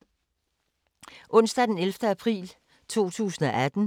Onsdag d. 11. april 2018